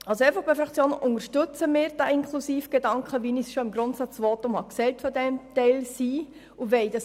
Als EVP-Fraktion unterstützen wir diesen inklusiven Gedanken, wie ich dies bereits in meinem Grundsatzvotum bezüglich des Teilseins ausgeführt habe.